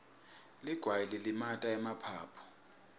ligwayi lilimata emaphaphu